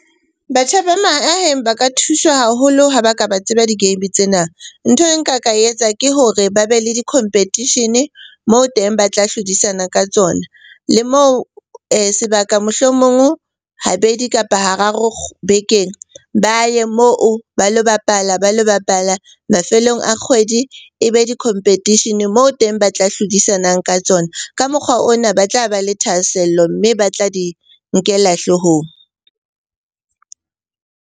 Batjha ba mahaheng ba ka thuswa haholo ha ba ka ba tseba di-game tsena. Nthwe nka ka e etsa ke hore ba be le di competition-e moo teng ba tla hlodisana ka tsona le moo sebaka, mohlomong habedi kapa hararo bekeng ba ye moo ba lo bapala. Mafelong a kgwedi e be di-competition-e moo teng ba tla hlodisanang ka tsona. Ka mokgwa ona ba tla ba le thahasello, mme ba tla di nkela hloohong.